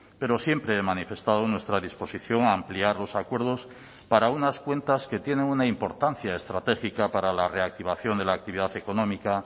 pero siempre he manifestado nuestra disposición a ampliar los acuerdos para unas cuentas que tienen una importancia estratégica para la reactivación de la actividad económica